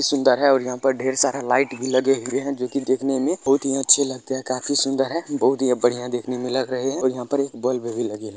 बहुत ही सुन्दर है और यहां पर ढेर सारा लाइट भी लगे हुए है जो की देखने में बहुत ही अच्छे लगते है काफि सुन्दर है बहुत ही बढ़िया दिखने में लग रहे है और यहाँ पर एक बल्ब भी लगे है।